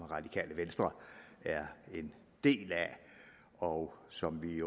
radikale venstre er en del af og som vi